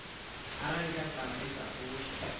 arali khasitama i sa fushi